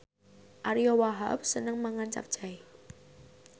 Ariyo Wahab seneng mangan capcay